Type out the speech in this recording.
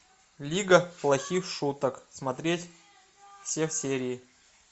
лига плохих шуток смотреть все серии